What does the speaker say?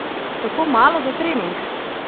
Tako malo za trening?